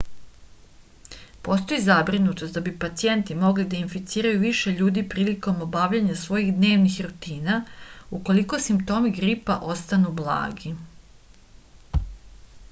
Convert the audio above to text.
postoji zabrinutost da bi pacijenti mogli da inficiraju više ljudi prilikom obavljanja svojih dnevnih rutina ukoliko simptomi gripa ostanu blagi